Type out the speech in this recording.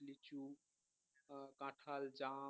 কাঁঠাল জাম